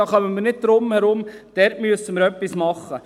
darum kommen wir nicht herum, dort müssen wir etwas tun.